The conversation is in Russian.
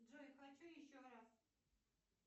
джой хочу еще раз